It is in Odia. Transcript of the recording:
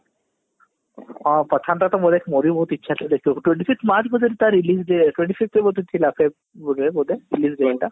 ହଁ pathan ଟା ତ ମୋର ବି ବହୁତ ଇଛା ଥିଲା ଦେଖିବାକୁ twenty fifth march କୁ ବୋଧେ ତାର release day twenty fifth କୁ ବୋଧେ ଥିଲା ବୋଧେ release day ଟା